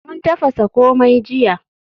Mun tafasa komai jiya.